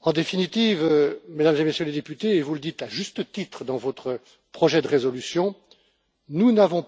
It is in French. En définitive, Mesdames et Messieurs les députés, et vous le dites à juste titre dans votre projet de résolution, en ce qui concerne